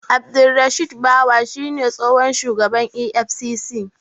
Abdurrashid Bawa shi ne tsohon shugaban EFCC.